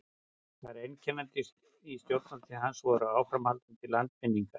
það sem einkenndi stjórnartíð hans voru áframhaldandi landvinningar